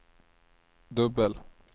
dubbel